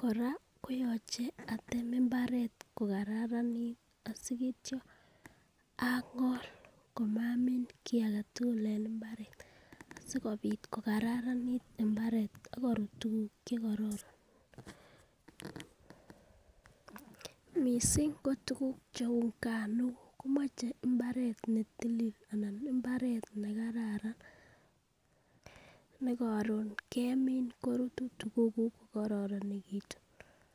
Koraa koyoche atem imbaret ko kararanit asiityo angol komamii kii agetutuk en imbaret sikopit ko kararanit imbaret ak korut tukuk chekororon. Missing ko tukuk cheu nganuk komuche imbaret netilil anan imbaret nekararan nekorun kemin korut tukuk kuk ko kororonekitun.